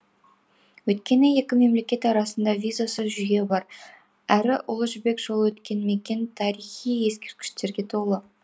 өйткені екі мемлекет арасында визасыз жүйе бар әрі ұлы жібек жолы өткен мекен тарихи ескерткіштерге толы